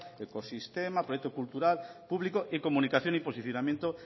ecosistema proyecto cultural público y comunicación y posicionamiento